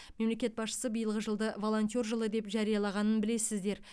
мемлекет басшысы биылғы жылды волонтер жылы деп жариялағанын білесіздер